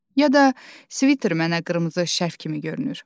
Ya da sviter mənə qırmızı şərf kimi görünür.